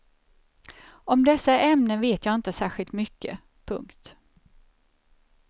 Om dessa ämnen vet jag inte särskilt mycket. punkt